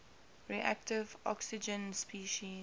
reactive oxygen species